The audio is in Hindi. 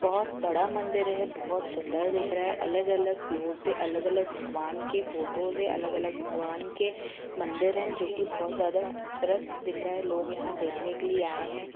बहुत बडा मंदिर है बहुत सुंदर दिख रहा है अलग अलग फ्लोअर पे अलग अलग भगवान के फ़ोटोज़ है अलग अलग भगवान के मंदिर है जोकी बहुत खूबसूरत है लोग यहा देखने के लिये आए है।